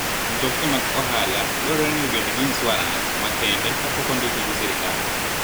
Mtokni mag ohala dwarore ni obed gi insuarans makende ka pok ondikgi gi sirkal.